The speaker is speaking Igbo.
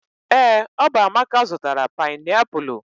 ee, ọ bụ amaka zụtara painiapulu